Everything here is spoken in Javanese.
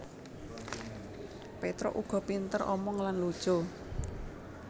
Petruk uga pinter omong lan lucu